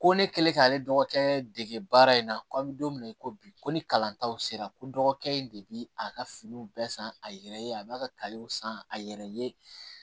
Ko ne kɛlen k'ale dɔgɔkɛ dege baara in na ko an bɛ don min na i ko bi ko ni kalantaw sera ko dɔgɔkɛ in de bi a ka finiw bɛɛ san a yɛrɛ ye a b'a ka san a yɛrɛ ye